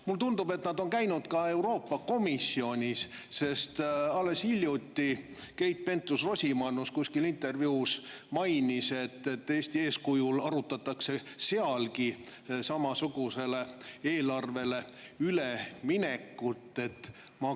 Mulle tundub, et nad on käinud ka Euroopa Komisjonis, sest alles hiljuti Keit Pentus-Rosimannus ühes intervjuus mainis, et Eesti eeskujul arutatakse sealgi samasugusele eelarvele üleminekut.